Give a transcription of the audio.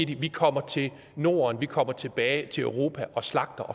de vi kommer til norden vi kommer tilbage til europa og slagter